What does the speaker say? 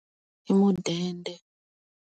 I mudende.